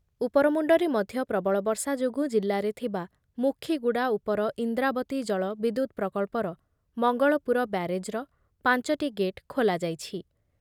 ଉପରମୁଣ୍ଡରେ ମଧ୍ୟ ପ୍ରବଳ ବର୍ଷା ଯୋଗୁଁ ଜିଲ୍ଲାରେ ଥିବା ମୁଖୀଗୁଡ଼ା ଉପର ଇନ୍ଦ୍ରାବତୀ ଜଳ ବିଦ୍ୟୁତ୍ ପ୍ରକଳ୍ପର ମଙ୍ଗଳପୁର ବ୍ୟାରେଜ୍‌ର ପାଞ୍ଚଟି ଗେଟ୍ ଖୋଲାଯାଇଛି ।